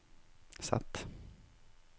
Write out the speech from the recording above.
Z